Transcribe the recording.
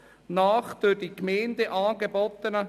Ich wünsche Ihnen einen guten Appetit.